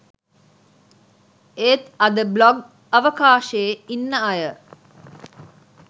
ඒත් අද බ්ලොග් අවකාශෙ ඉන්න අය